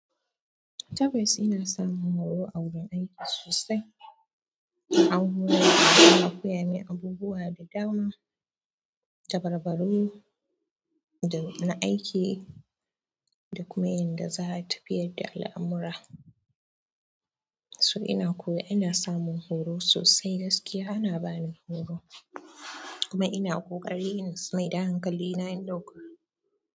Tabbas ina samun horo a gun aiki sosai. An horar dani, an koya min abubuwa da dama, dabarbaru na aiki da kuma yadda za a tafiyar da al'amura. So ina koya, ina samun horo sosai gaskiya ana bani horo kuma ina ƙoƙari in mai da hankali na in ɗauka.